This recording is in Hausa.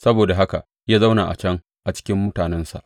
Saboda haka ya zauna a can a cikin mutanensa.